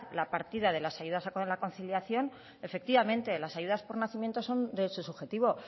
la partida de las ayudas a la conciliación efectivamente las ayudas por nacimiento es un derecho subjetivo